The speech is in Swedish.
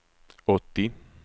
åttio